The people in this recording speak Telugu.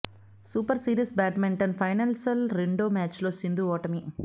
సూపర్ సిరీస్ బాడ్మింటన్ ఫైనల్స్ రెండో మ్యాచ్లో సింధు ఓటమి